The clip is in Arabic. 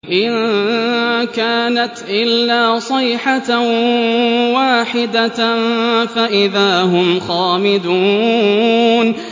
إِن كَانَتْ إِلَّا صَيْحَةً وَاحِدَةً فَإِذَا هُمْ خَامِدُونَ